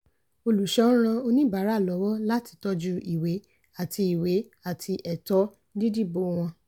olùṣọ́ ń ran oníbàárà lọ́wọ́ láti tọ́jú ìwé àti ìwé àti ẹ̀tọ́ dídìbò wọn.